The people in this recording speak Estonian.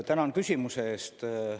Tänan küsimuse eest!